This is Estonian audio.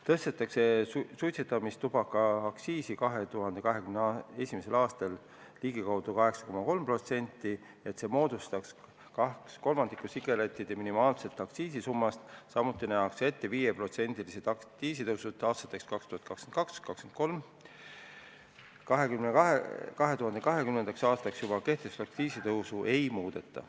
2021. aastal tõstetakse suitsetamistubaka aktsiisi ligikaudu 8,3%, et see moodustaks 2/3 sigarettide minimaalsest aktsiisisummast, samuti nähakse ette 5%-lised aktsiisitõusud aastateks 2022 ja 2023. Aastaks 2020 kehtestatud aktsiisitõusu ei muudeta.